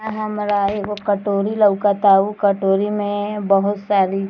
अ हमरा एगो कटोरी लउकता उ कटोरी में बहुत सारी --